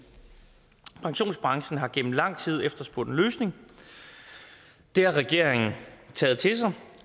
pensionsbranchen har gennem lang tid efterspurgt en løsning det har regeringen taget til sig